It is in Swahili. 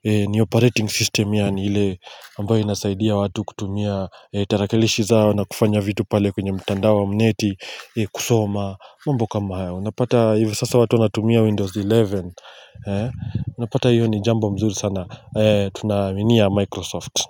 ni operating system yani ile ambayo inasaidia watu kutumia tarakilishi zao na kufanya vitu pale kwenye mtanda wa mneti kusoma mambo kama haya unapata hivi sasa watu wanatumia windows 11 unapata hiyo ni jambo mzuri sana tunaaminia microsoft.